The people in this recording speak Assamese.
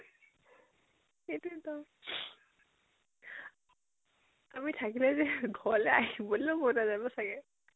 সেইটোয়েটো, আমি থাকিলে যে ঘৰলৈ আহিবলৈ মন নাজাব চাগে?